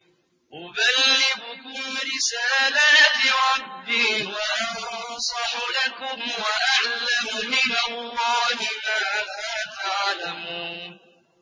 أُبَلِّغُكُمْ رِسَالَاتِ رَبِّي وَأَنصَحُ لَكُمْ وَأَعْلَمُ مِنَ اللَّهِ مَا لَا تَعْلَمُونَ